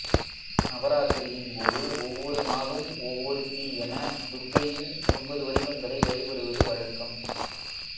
நவராத்திரியின் போது ஒவ்வொரு நாளும் ஒவ்வொருத்தி என துர்க்கையின் ஒன்பது வடிவங்களை வழிபடுவது வழக்கம்